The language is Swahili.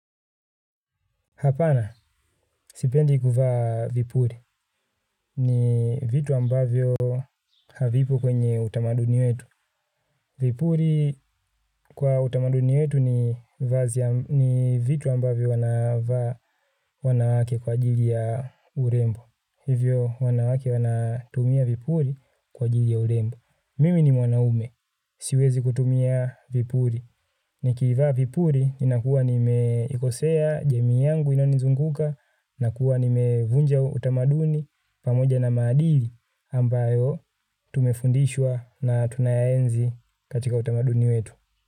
Hapana, sipendi kuvaa vipuli. Ni vitu ambavyo havipo kwenye utamaduni wetu. Vipuli kwa utamaduni wetu ni vitu ambavyo wanawake kwa ajili ya urembo. Hivyo wanawake wanatumia vipuli kwa ajili ya urembo. Mimi ni mwanaume siwezi kutumia vipuli. Ni kivaa vipuli inakuwa nimeikosea jamii yangu inanizunguka nakuwa nimevunja utamaduni pamoja na maadili ambayo tumefundishwa na tunayaenzi katika utamaduni wetu.